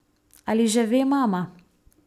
Ali že ve mama?